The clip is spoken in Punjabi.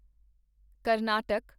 ਕਰਨਾਟਕ